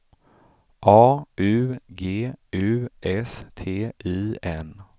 A U G U S T I N